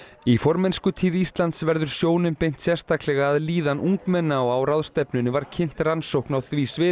í formennskutíð Íslands verður sjónum beint sérstaklega að líðan ungmenna og á ráðstefnunni var kynnt rannsókn á því sviði